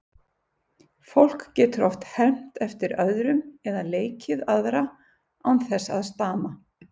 Fólk getur oft hermt eftir öðrum eða leikið aðra án þess að stama.